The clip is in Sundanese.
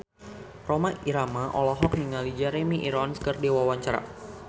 Rhoma Irama olohok ningali Jeremy Irons keur diwawancara